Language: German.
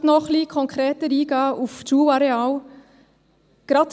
Ich möchte noch ein bisschen konkreter auf die Schulareale eingehen.